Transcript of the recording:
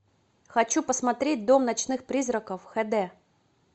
хочу посмотреть дом ночных призраков хд